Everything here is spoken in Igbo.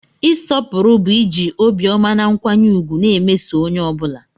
Ịsọpụrụ bụ iji obiọma na nkwanye ùgwù na-emeso onye ọ bụla.